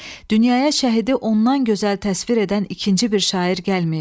Dünyaya şəhidi ondan gözəl təsvir edən ikinci bir şair gəlməyib.